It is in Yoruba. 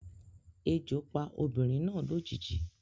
Ejo pa obinrin na lojiji